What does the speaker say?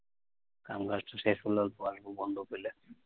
কাম কাজ টা শেষ হলে অল্প আসবো বন্ধ পেলে।